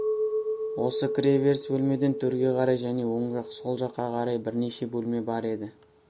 осы кіреберіс бөлмеден төрге қарай және оң жақ сол жаққа қарай бірнеше бөлме бар еді